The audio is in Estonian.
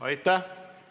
Aitäh!